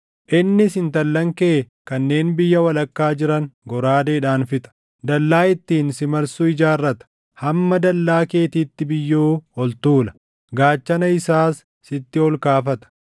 Innis intallan kee kanneen biyya walakkaa jiran goraadeedhaan fixa; dallaa ittiin si marsu ijaarrata; hamma dallaa keetiitti biyyoo ol tuula; gaachana isaas sitti ol kaafata.